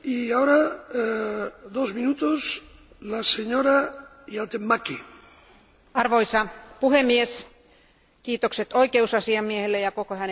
Arvoisa puhemies, kiitokset oikeusasiamiehelle ja koko hänen toimistolleen arvokkaasta työstä vaikeissa oloissa.